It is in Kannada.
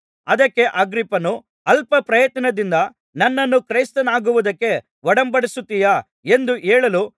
ಅದಕ್ಕೆ ಅಗ್ರಿಪ್ಪನು ಅಲ್ಪಪ್ರಯತ್ನದಿಂದ ನನ್ನನ್ನು ಕ್ರೈಸ್ತನಾಗುವುದಕ್ಕೆ ಒಡಂಬಡಿಸುತ್ತೀಯಾ ಎಂದು ಹೇಳಲು